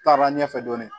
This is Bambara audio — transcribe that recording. Taara ɲɛfɛ dɔɔnin